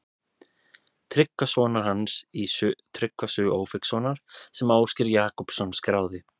Tryggva sonar hans í Tryggva sögu Ófeigssonar sem Ásgeir Jakobsson skráði.